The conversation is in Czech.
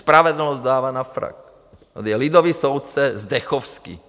Spravedlnost dává na frak, tady je lidový soudce Zdechovský.